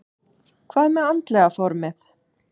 Hvað með andlega formið?